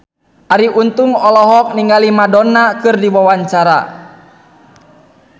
Arie Untung olohok ningali Madonna keur diwawancara